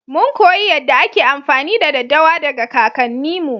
Mun koyi yadda ake amfani da daddawa daga kakanni mu.